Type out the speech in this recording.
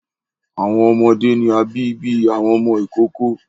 Awọn ọmọde ni a bi bi awọn ọmọ ikoko